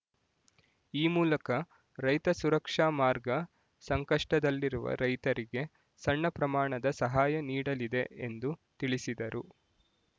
ಈ ಮೂಲಕ ರೈತ ಸುರಕ್ಷಾ ಮಾರ್ಗ ಸಂಕಷ್ಟದಲ್ಲಿರುವ ರೈತರಿಗೆ ಸಣ್ಣ ಪ್ರಮಾಣದ ಸಹಾಯ ನೀಡಲಿದೆ ಎಂದು ತಿಳಿಸಿದರು